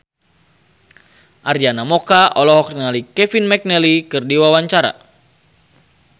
Arina Mocca olohok ningali Kevin McNally keur diwawancara